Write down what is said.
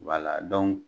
Wala